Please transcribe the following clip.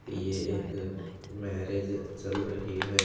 यह एक मैरिज चल रही है।